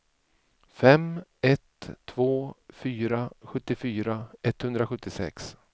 fem ett två fyra sjuttiofyra etthundrasjuttiosex